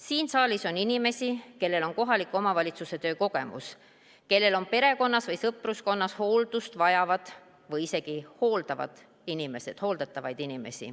Siin saalis on inimesi, kellel on kohaliku omavalitsuse töö kogemus, kellel on perekonnas või sõpruskonnas hooldust vajavad või isegi hooldatavad inimesed.